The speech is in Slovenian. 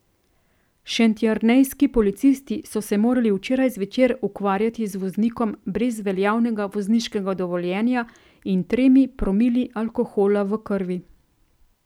Šentjernejski policisti so se morali včeraj zvečer ukvarjati z voznikom brez veljavnega vozniškega dovoljenja in tremi promili alkohola v krvi.